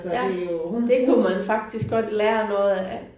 Ja det kunne man faktisk godt lære noget af